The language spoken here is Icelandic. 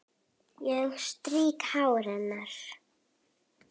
Ég strýk hár hennar.